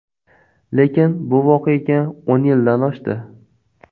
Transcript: Lekin bu voqeaga o‘n yildan oshdi.